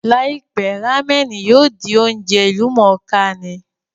Láìpẹ́, rámẹ̀nì yóò di oúnjẹ ìlú mọ̀ọ́ kà ní